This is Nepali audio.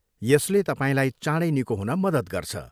यसले तपाईँलाई चाँडै निको हुन मद्दत गर्छ।